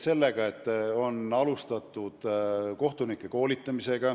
On alustatud kohtunike sellekohast koolitamist.